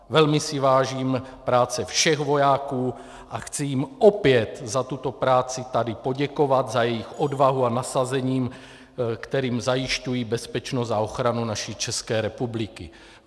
Velmi si vážím práce všech vojáků a chci jim opět za tuto práci tady poděkovat, za jejich odvahu a nasazení, kterým zajišťují bezpečnost a ochranu naší České republiky.